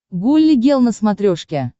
гулли гел на смотрешке